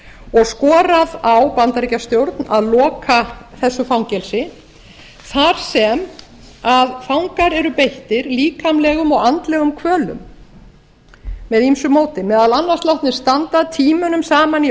og skorað á bandaríkjastjórn að loka þessu fangelsi þar sem fangar eru beittir líkamlegum og andlegum kvölum með ýmsu móti meðal annars látnir standa tímunum saman í